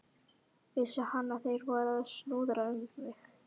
Vissi hann, að þeir væru að snuðra um mig?